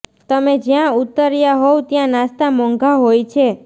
તમે જ્યાં ઊતર્યા હોવ ત્યાં નાસ્તા મોંઘા હોય છે